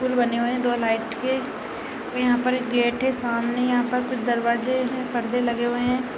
पुल बने हुए हैं दो लाइट के और यहाँ पर एक गेट है सामने यहाँ पर कुछ दरवाजे हैं पर्दे लगे हुए हैं।